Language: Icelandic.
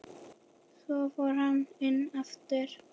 Svo fór hann inn aftur.